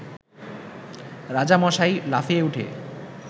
রাজামশাই লাফিয়ে উঠে